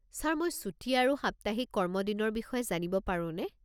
Sir মই ছুটী আৰু সাপ্তাহিক কৰ্মদিনৰ বিষয়ে জানিব পাৰোনে?